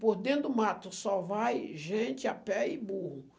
Por dentro do mato só vai gente a pé e burro.